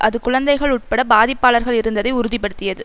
அது குழந்தைகள் உட்பட பாதிப்பாளர்கள் இருந்ததை உறுதிபடுத்தியது